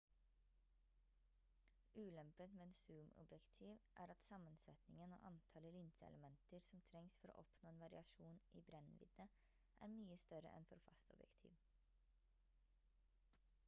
ulempen med zoomobjektiv er at sammensetningen og antallet linseelementer som trengs for å oppnå en variasjon i brennvidde er mye større enn for fastobjektiv